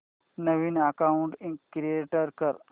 नवीन account create कर